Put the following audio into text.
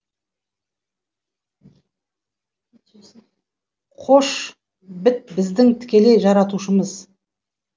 қош біт біздің тікелей жаратушымыз